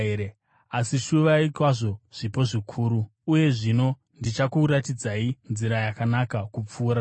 Asi shuvai kwazvo zvipo zvikuru. Rudo Uye zvino ndichakuratidzai nzira yakanaka kupfuura dzose.